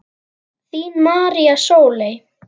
Þín María Sóley.